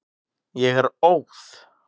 Ég er óð.